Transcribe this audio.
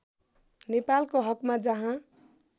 नेपालको हकमा जहाँ